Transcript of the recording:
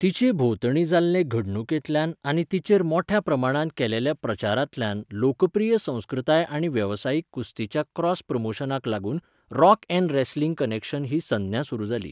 तिचे भोंवतणीं जाल्ले घडणुकेंतल्यान आनी तिचेर मोट्या प्रमाणांत केलेल्या प्रचारांतल्यान लोकप्रिय संस्कृताय आनी वेवसायीक कुस्तीच्या क्रॉस प्रमोशनाक लागून रॉक 'एन' रॅसलिंग कनेक्शन ही संज्ञा सुरू जाली.